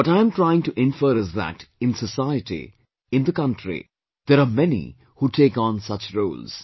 What I'm trying to infer is that in society, in the country, there are many who take on such roles